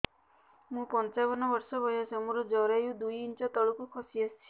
ମୁଁ ପଞ୍ଚାବନ ବର୍ଷ ବୟସ ମୋର ଜରାୟୁ ଦୁଇ ଇଞ୍ଚ ତଳକୁ ଖସି ଆସିଛି